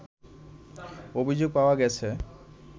অভিযোগ পাওয়া গেছে